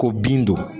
Ko bin don